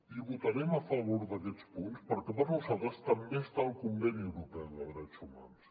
i votarem a favor d’aquests punts perquè per nosaltres també està el conveni europeu de drets humans